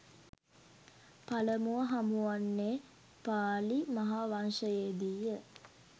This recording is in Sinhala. පළමුව හමුවන්නේ පාලි මහා වංශයේ දී ය.